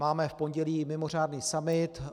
Máme v pondělí mimořádný summit.